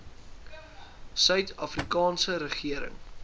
suid afrikaanse regering